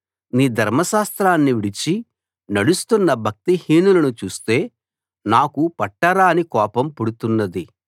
నీ ధర్మశాస్త్రాన్ని విడిచి నడుస్తున్న భక్తిహీనులను చూస్తే నాకు పట్టరాని కోపం పుడుతున్నది